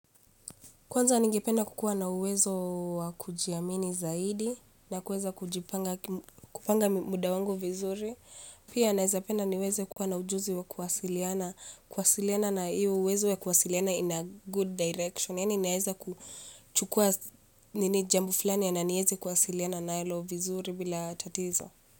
Kwanza ningependa kukua na uwezo wa kujiamini zaidi na kuweza kujipanga kupanga muda wangu vizuri, pia naweza penda niweze kuwa na ujuzi wa kuwasiliana, kuwasiliana na hiyo uwezo ya kuwasiliana in a good direction, yani naweza kuchukua nini jambo fulani na niweze kuwasiliana na hilo vizuri bila tatizo.